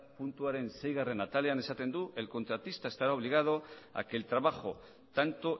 puntuaren seigarren atalean esaten du el contratista estará obligado a que el trabajo tanto